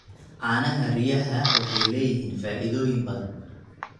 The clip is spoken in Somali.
Caanaha riyaha waxay leeyihiin faa'iidooyin badan.